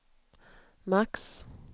max